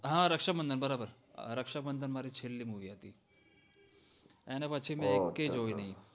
હા રક્ષાબંધન બરોબર રક્ષાબંધન મારી છેલ્લી movie હતી અને પછી મેં એકેય જોય નય